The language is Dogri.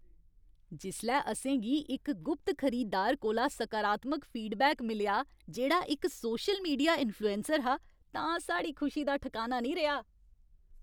जिसलै असेंगी इक गुप्त खरीदार कोला सकारात्मक फीडबैक मिलेआ जेह्ड़ा इक सोशल मीडिया इंफ्लुएंसर हा तां साढ़ी खुशी दा ठकाना निं रेहा।